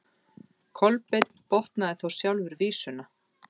Kolbeinn botnaði þá sjálfur vísuna: